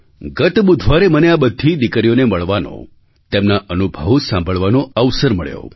ગત બુધવારે મને આ બધી દીકરીઓને મળવાનો તેમના અનુભવો સાંભળવાનો અવસર મળ્યો